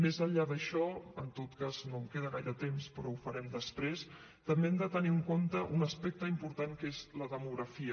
més enllà d’això en tot cas no em queda gaire temps però ho farem després també hem de tenir en compte un aspecte important que és la demografia